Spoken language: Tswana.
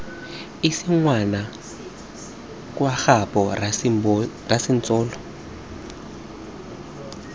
ise ngwana kwa gaabo rasebintsolo